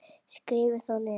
Skrifið þá niður.